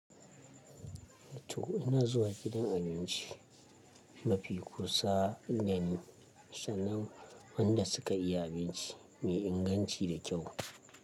To ina zuwa gidan abinci mafi kusa ne, sannan wanda suka iya abinci mai inganci da kyau.